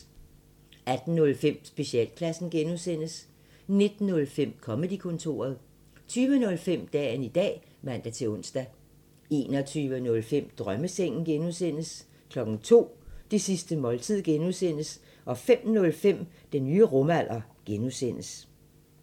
18:05: Specialklassen (G) 19:05: Comedy-kontoret 20:05: Dagen i dag (man-ons) 21:05: Drømmesengen (G) 02:00: Det sidste måltid(G) 05:05: Den nye rumalder (G)